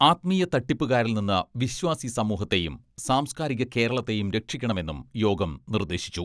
ആത്മീയ തട്ടിപ്പുകാരിൽ നിന്ന് വിശ്വാസി സമൂഹത്തെയും സാംസ്കാരിക കേരളത്തെയും രക്ഷിക്കണമെന്നും യോഗം നിർദ്ദേശിച്ചു